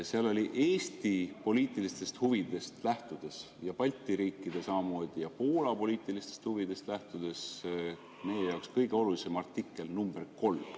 Seal oli Eesti poliitilistest huvidest lähtudes ja samamoodi Balti riikide ja Poola poliitilistest huvidest lähtudes meie jaoks kõige olulisem artikkel nr 3.